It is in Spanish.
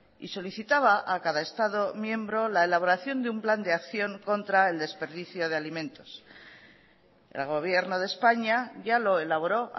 y solicitaba a cada estado miembro la elaboración de un plan de acción contra el desperdicio de alimentos el gobierno de españa ya lo elaboró